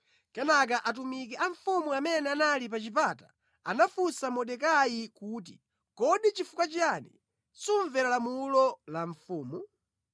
Kenaka atumiki a mfumu amene anali pa chipata anafunsa Mordekai kuti, “Kodi nʼchifukwa chiyani sumvera lamulo la mfumu?”